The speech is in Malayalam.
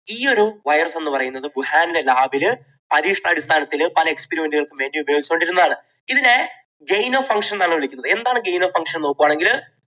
ഈയൊരു virus എന്നുപറയുന്നത് വുഹാനിലെ lab ൽ പരീക്ഷണാടിസ്ഥാനത്തിൽ പല experiment കൾക്കും വേണ്ടി ഉപയോഗിച്ചു കൊണ്ടിരുന്നതാണ്. ഇതിനെ gyno function എന്നാണ് വിളിക്കുന്നത്. എന്താണ് gyno function എന്ന് നോക്കുകയാണെങ്കിൽ